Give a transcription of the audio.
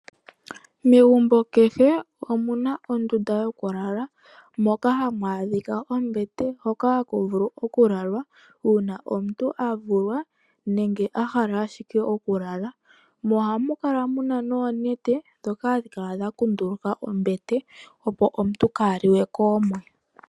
Megumbo kehe omuna ondunda yokulala moka hamu a dhika ombete ndjono hayi vulu okulalwa uuma omuntu a vulwa nenege a hala okulala. Ohamu kala wo muna oonete ndhono hadhi kala dha kunduluka ombete, opo omuntu ka halike koomwe.